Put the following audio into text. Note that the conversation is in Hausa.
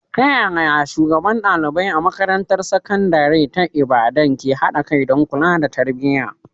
Ta yaya shugabannin ɗalibai a makarantar sakandare ta Ibadan ke haɗa kai don kula da tarbiyya?